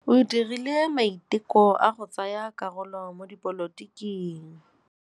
O dirile maitekô a go tsaya karolo mo dipolotiking.